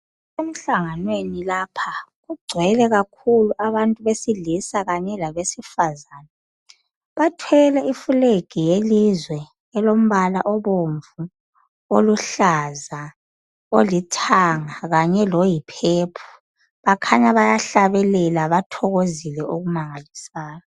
Emhlanganweni lapha kugcwele kakhulu abantu besilisa kanye labesifazana. Bathwele iflegi yelizwe elombala obomvu, oluhlaza, olithanga kanye loyiphephu. Bakhanya bayahlabelela bathokozile okumangalisayo.